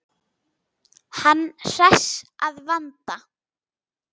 Hann hress að vanda.